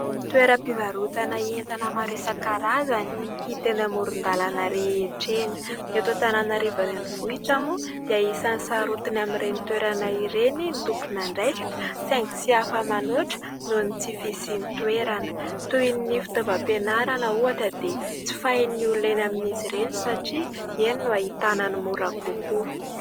Toeram-pivarotana entana maro isan-karazany hita eny amoron-dalàna rehetra eny. Eto Antananarivo Renivohitra moa dia isany sarotiny amin'ireny toerana ireny ny tompon'andraikitra saingy tsy hafa manoatra noho ny tsy fisian'ny toerana. Toy ny fitaovam-pianarana ohatra dia jifain'ny olona eny amin'izy ireny satria eny no hahitana ny mora kokoa.